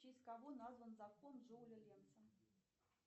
в честь кого назван закон джоуля ленца